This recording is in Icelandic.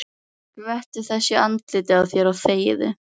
Skvettu þessu í andlitið á þér og þegiðu.